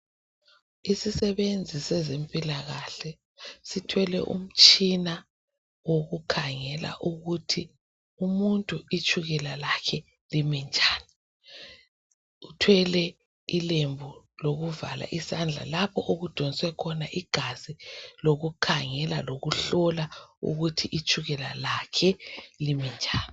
Isisesebenzi sezempilakahle sithwele umtshina wokukhangela ukuthi umuntu itshukela lakhe limi njani. Uthwele ilembu lokuvala isandla lapho okudonswe khona igazi lokukhangela lokuhlola ukuthi itshukela lakhe limi njani.